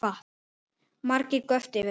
Margir göptu yfir þessu